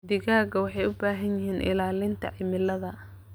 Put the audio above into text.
Digaagga waxay u baahan yihiin ilaalinta cimilada.